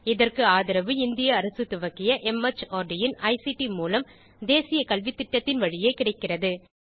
இதற்கு ஆதரவு இந்திய அரசு துவக்கிய மார்ட் இன் ஐசிடி மூலம் தேசிய கல்வித்திட்டத்தின் வழியே கிடைக்கிறது